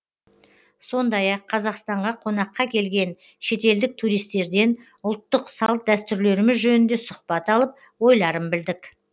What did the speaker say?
сондай ақ қазақстанға қонаққа келген шетелдік туристтерден ұлттық салт дәстүрлеріміз жөнінде сұхбат алып ойларын білдік